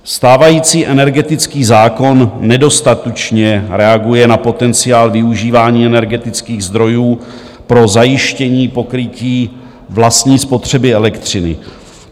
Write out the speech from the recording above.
Stávající energetický zákon nedostatečně reaguje na potenciál využívání energetických zdrojů pro zajištění pokrytí vlastní spotřeby elektřiny.